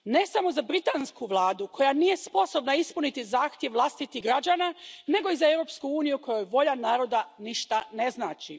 Ne samo za britansku vladu, koja nije sposobna ispuniti zahtjev vlastitih građana nego i za Europsku uniju kojoj volja naroda ništa ne znači.